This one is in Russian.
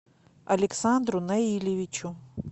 александру наилевичу